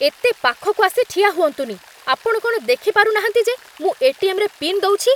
ଏତେ ପାଖକୁ ଆସି ଠିଆ ହୁଅନ୍ତୁନି । ଆପଣ କ'ଣ ଦେଖିପାରୁନାହାନ୍ତି ଯେ ମୁଁ ଏ.ଟି.ଏମ୍. ରେ ପିନ୍ ଦଉଛି?